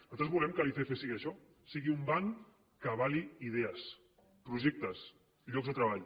nosaltres volem que l’icf sigui això sigui un banc que avali idees projectes llocs de treball